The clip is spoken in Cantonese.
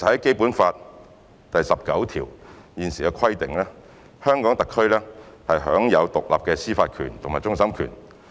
《基本法》第十九條訂明特區享有獨立的司法權及終審權。